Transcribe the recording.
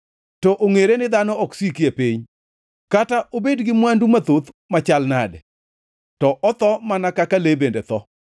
To ongʼere ni dhano ok siki e piny, kata obed gi mwandu mathoth machal nade, to otho mana kaka le bende tho.